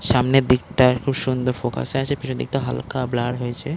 সামনের দিকটা খুব সুন্দর ফোকাস -এ আছে পিছনের দিকটা হালকা ব্লার হয়েছে--